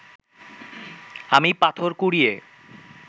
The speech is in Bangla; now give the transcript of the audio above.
আমি পাথর কুড়িয়ে